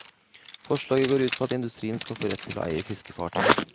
Forslaget går ut på at industrien skal få rett til å eie fiskefartøyer.